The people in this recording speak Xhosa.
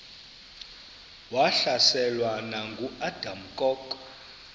wahlaselwa nanguadam kok